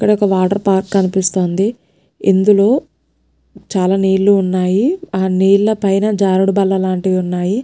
ఇక్కడొక water park కనిపిస్తుంది ఇందులో చాలా నీలు ఉన్నయిఆ నీళ్ళ పైన జారుడు బల్ల లాంటివి ఉన్నాయి.